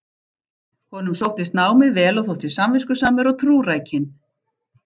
Honum sóttist námið vel og þótti samviskusamur og trúrækinn.